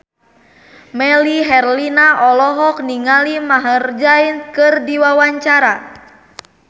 Melly Herlina olohok ningali Maher Zein keur diwawancara